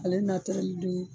Ale don